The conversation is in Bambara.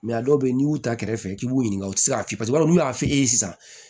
a dɔw bɛ yen n'i y'u ta kɛrɛfɛ k'i b'u ɲininka u tɛ se k'a f'i ye paseke n'u y'a f'i ye sisan